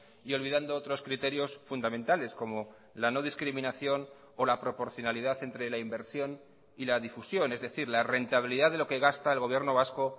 y olvidando otros criterios fundamentales como la no discriminación o la proporcionalidad entre la inversión y la difusión es decir la rentabilidad de lo que gasta el gobierno vasco